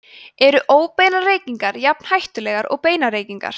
eru óbeinar reykingar jafn hættulegar og beinar reykingar